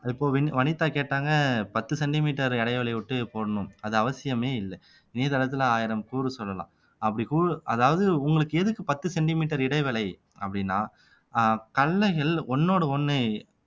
இப்போ வினி வனிதா கேட்டாங்க பத்து சென்டிமீட்டர் இடைவெளி விட்டு போடணும் அது அவசியமே இல்லை இணையதளத்துல ஆயிரம் கூறு சொல்லலாம் அப்படி கூ அதாவது உங்களுக்கு எதுக்கு பத்து சென்டிமீட்டர் இடைவேளை அப்டின்னா ஆஹ் கடலைகள் ஒண்ணோடு ஒண்ணு